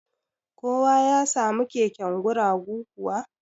Kowa ya samu keken guragu kuwa?